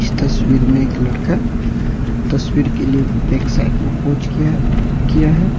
इस तस्वीर में एक लड़का तस्वीर के लिए एक साइड में पोज किया है किया है।